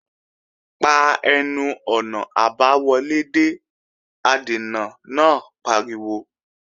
Pa ẹnu-ọ̀nà àbáwọlé dé! Adènà náà pariwo